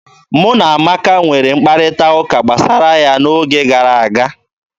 Mụ na Amaka nwere mkparịta ụka gbasara ya n'oge gara aga.